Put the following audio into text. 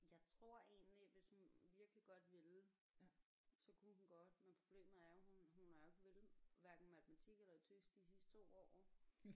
Jeg tror egentlig hvis hun virkelig godt ville så kunne hun godt men problemet er at hun hun har jo ikke villet hverken matematik eller tysk de sidste 2 år